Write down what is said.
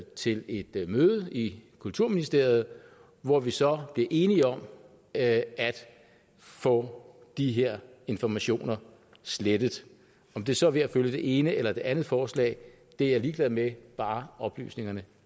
til et møde i kulturministeriet hvor vi så bliver enige om at få de her informationer slettet om det så er ved at følge det ene eller det andet forslag er jeg ligeglad med bare oplysningerne